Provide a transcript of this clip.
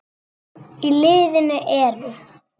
Í liðinu eru